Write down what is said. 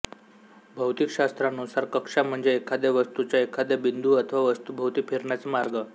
भौतिकशास्त्रानुसार कक्षा म्हणजे एखाद्या वस्तूचा एखाद्या बिंदू अथवा वस्तूभोवती फिरण्याचा मार्ग